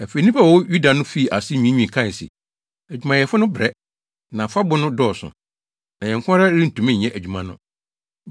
Afei, nnipa a wɔwɔ Yuda no fii ase nwiinwii kae se, “Adwumayɛfo no rebrɛ, na afabo no dɔɔso, na yɛn nko ara rentumi nyɛ adwuma no.”